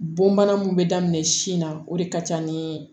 Bon bana mun bɛ daminɛ sin na o de ka ca ni